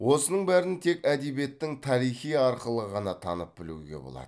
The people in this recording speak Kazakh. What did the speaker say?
осының бәрін тек әдебиеттің тарихи арқылы ғана танып білуге болады